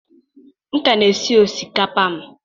M ka na-esi osikapa m.